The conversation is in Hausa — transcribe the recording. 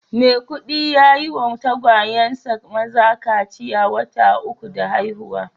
Maikudi ya yi wa tagwayensa maza kaciya wata uku da haihuwa